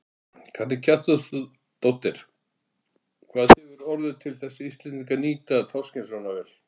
Karen Kjartansdóttir: Hvað hefur orðið til þess að Íslendingar nýta þorskinn svona vel?